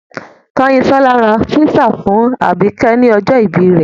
Kányinsọ́lá ra písà fún àbìkẹ́ ní ọjọ́ ìbí rẹ̀.